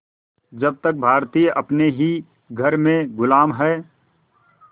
जब तक भारतीय अपने ही घर में ग़ुलाम हैं